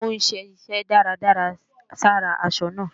Ó ń ṣe iṣẹ́ dídárà sára aṣọ náà